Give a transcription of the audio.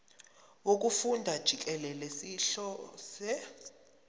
wokufunda jikelele sihlose